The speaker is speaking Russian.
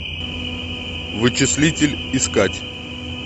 вычислитель искать